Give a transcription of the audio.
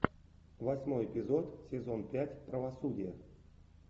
восьмой эпизод сезон пять правосудие